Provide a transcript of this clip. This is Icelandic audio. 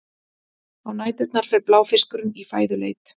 á næturnar fer bláfiskurinn í fæðuleit